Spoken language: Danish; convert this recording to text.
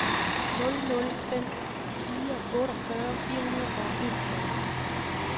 nul nul fem fire otteogfyrre fire hundrede og enogfyrre